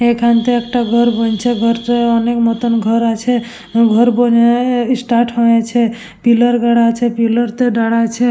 এইখানেতে একটা ঘর বনছে ঘর টো অনেক মতন ঘর আছে ঘর বোনে স্টার্ট হয়েছে পিলার গোড়া আছে পিলার -তে দাড়াইছে ।